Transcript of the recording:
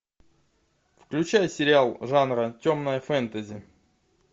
включай сериал жанра темное фэнтези